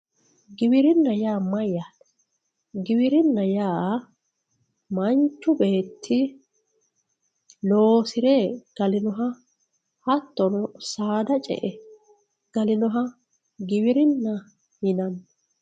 giwirinna yaa mayyaate giwirinna yaa manchu beetti loosire galinoha hattono saada ce'ire galinoha giwirinna yinanni